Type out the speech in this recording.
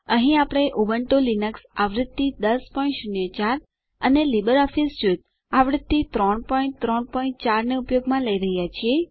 અહીં આપણે Ubuntu Linux આવૃત્તિ 1004 અને લીબરઓફીસ સ્યુટ આવૃત્તિ 334 ને ઉપયોગમાં લઇ રહ્યાં છીએ